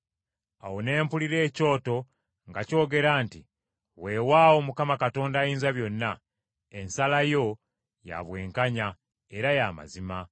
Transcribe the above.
Awo ne mpulira ekyoto ng’akyogera nti, “Weewaawo Mukama Katonda Ayinzabyonna, ensala yo ya bwenkanya era ya mazima.”